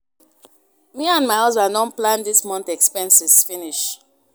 Me and my husband don plan dis month expenses finish